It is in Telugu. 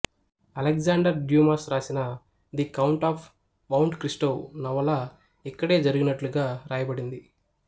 అలెగ్జాండర్ డ్యూమాస్ రాసిన the count of Monte Cristo నవల ఇక్కడే జరిగినట్లుగా రాయబడింది